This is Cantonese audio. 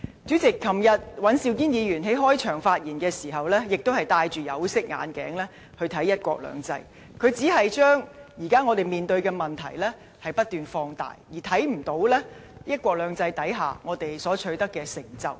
主席，昨天尹兆堅議員在開場發言時，亦都是戴着有色眼鏡來看"一國兩制"，他只是將我們現時面對的問題不斷放大，而看不到"一國兩制"下，我們所取得的成就。